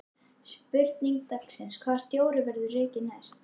Spurning dagsins: Hvaða stjóri verður rekinn næst?